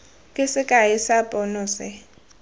ke sekai sa pono se